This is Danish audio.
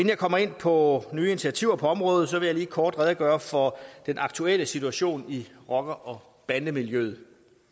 jeg kommer ind på nye initiativer på området vil jeg lige kort redegøre for den aktuelle situation i rocker bande miljøet